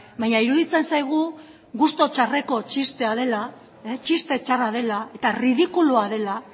baina iruditzen zaigu gustu txarreko txistea dela txiste txarra dela eta ridikulua dela